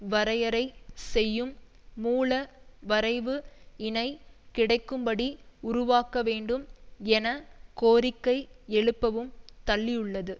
வரையறை செய்யும் மூல வரைவு இனை கிடைக்கும்படி உருவாக்கவேண்டும் என கோரிக்கை எழுப்பவும் தள்ளியுள்ளது